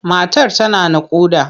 Matar tana naƙuda.